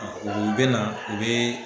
U bɛ na u bɛ.